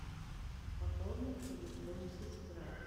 пополни телефон сестра